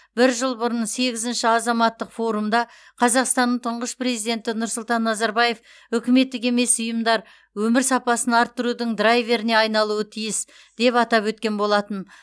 бір жыл бұрын сегізінші азаматтық форумда қазақстанның тұңғыш президенті нұрсұлтан назарбаев үкіметтік емес ұйымдар өмір сапасын арттырудың драйверіне айналуы тиіс деп атап өткен болатын